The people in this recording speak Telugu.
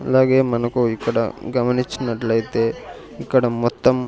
అలాగే మనకు ఇక్కడ గమనించినట్లయితే ఇక్కడ మొత్తం --